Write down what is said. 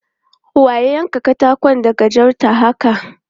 Wa ya yanka katakon da gajarta haka?